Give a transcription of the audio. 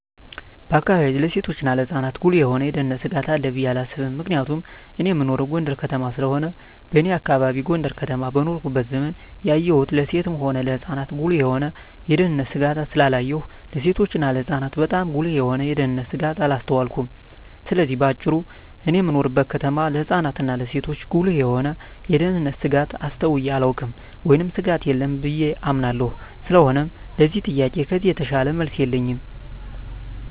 በአካባቢየ ለሴቶችና ለህጻናት ጉልህ የሆነ የደህንነት ስጋት አለ ብየ አላስብም ምክንያቱም እኔ እምኖረው ጎንደር ከተማ ስለሆነ በኔ አካባቢ ጎንደር ከተማ በኖርኩበት ዘመን ያየሁን ለሴትም ሆነ ለህጻን ጉልህ የሆነ የደህንነት ስጋት ስላላየሁ ለሴቶችና ለህጻናት ባጣም ጉልህ የሆነ የደንነት ስጋት አላስተዋልኩም ስለዚህ በአጭሩ እኔ በምኖርበት ከተማ ለህጻናት እና ለሴቶች ጉልህ የሆነ የደህንነት ስጋት አስተውየ አላውቅም ወይም ስጋት የለም ብየ አምናለሁ ስለሆነም ለዚህ ጥያቄ ከዚህ የተሻለ መልስ የለኝም።